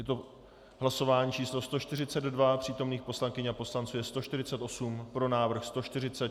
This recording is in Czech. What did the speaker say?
Je to hlasování číslo 142, přítomných poslankyň a poslanců je 148, pro návrh 146, návrh byl přijat.